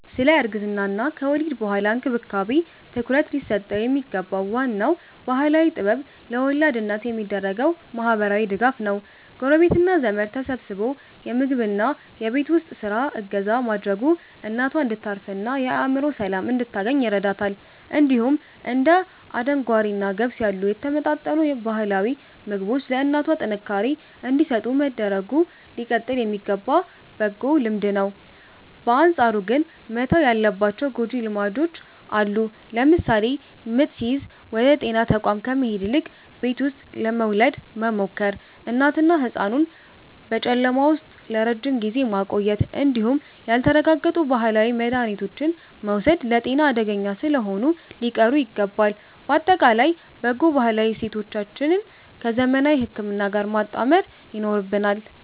ስለ እርግዝናና ከወሊድ በኋላ እንክብካቤ ትኩረት ሊሰጠው የሚገባው ዋናው ባህላዊ ጥበብ ለወላድ እናት የሚደረገው ማህበራዊ ድጋፍ ነው። ጎረቤትና ዘመድ ተሰባስቦ የምግብና የቤት ውስጥ ስራ እገዛ ማድረጉ እናቷ እንድታርፍና የአእምሮ ሰላም እንድታገኝ ይረዳታል። እንዲሁም እንደ አደንጓሬና ገብስ ያሉ የተመጣጠኑ ባህላዊ ምግቦች ለእናቷ ጥንካሬ እንዲሰጡ መደረጉ ሊቀጥል የሚገባ በጎ ልማድ ነው። በአንጻሩ ግን መተው ያለባቸው ጎጂ ልማዶች አሉ። ለምሳሌ ምጥ ሲይዝ ወደ ጤና ተቋም ከመሄድ ይልቅ ቤት ውስጥ ለመውለድ መሞከር፣ እናትንና ህጻኑን በጨለማ ቤት ውስጥ ለረጅም ጊዜ ማቆየት እንዲሁም ያልተረጋገጡ ባህላዊ መድሃኒቶችን መውሰድ ለጤና አደገኛ ስለሆኑ ሊቀሩ ይገባል። ባጠቃላይ በጎ ባህላዊ እሴቶቻችንን ከዘመናዊ ህክምና ጋር ማጣመር ይኖርብናል።